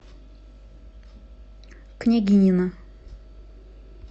княгинино